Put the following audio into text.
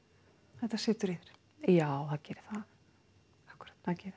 þetta situr í þér já það gerir það akkúrat